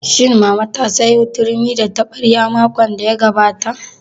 Shin mama ta sayo turmi da taɓarya makon da ya gabata?